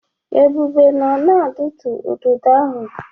Ebube nọ na-adụtu ududo ahụ.